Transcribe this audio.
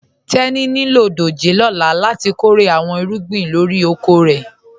Tẹni ní ilọ dòjé lọ́là láti kọ́rè àwọn ìrúgbìn lórí òkò rẹ.